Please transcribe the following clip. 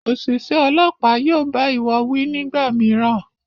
Oṣiṣẹ Ọlọ́pàá yóò bá iwọ wí nígbàmìíràn